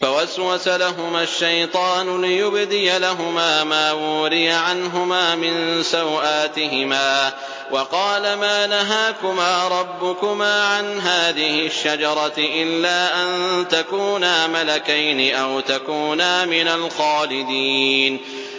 فَوَسْوَسَ لَهُمَا الشَّيْطَانُ لِيُبْدِيَ لَهُمَا مَا وُورِيَ عَنْهُمَا مِن سَوْآتِهِمَا وَقَالَ مَا نَهَاكُمَا رَبُّكُمَا عَنْ هَٰذِهِ الشَّجَرَةِ إِلَّا أَن تَكُونَا مَلَكَيْنِ أَوْ تَكُونَا مِنَ الْخَالِدِينَ